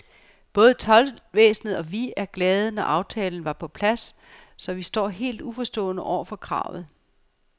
Både toldvæsenet og vi var glade, da aftalen var på plads, så vi står helt uforstående over for kravet.